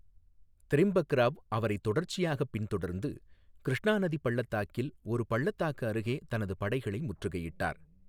திரிம்பக்ராவ் அவரை தொடர்ச்சியாக பின்தொடர்ந்து, கிருஷ்ணா நதி பள்ளத்தாக்கில் ஒரு பள்ளத்தாக்கு அருகே தனது படைகளை முற்றுகையிட்டார்.